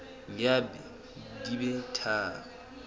ya b di be tharo